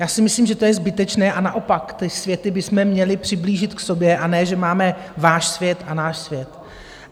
Já si myslím, že to je zbytečné a naopak ty světy bychom měli přiblížit k sobě, a ne že máme váš svět a náš svět.